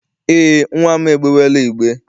Eé, nnwa m egbewela igbe.